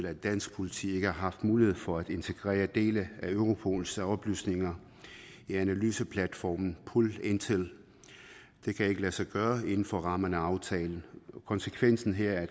at dansk politi ikke har haft mulighed for at integrere dele af europols oplysninger i analyseplatformen pol intel det kan ikke lade sig gøre inden for rammerne af aftalen konsekvensen her er